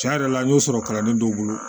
Cɛn yɛrɛ la n y'o sɔrɔ kalanden dɔw bolo